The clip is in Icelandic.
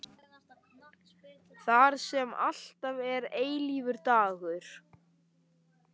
Þar sem alltaf er eilífur dagur.